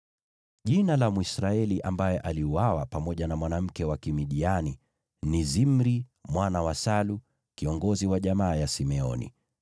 Jina la Mwisraeli ambaye aliuawa pamoja na mwanamke wa Kimidiani ni Zimri mwana wa Salu, kiongozi wa jamaa ya Simeoni.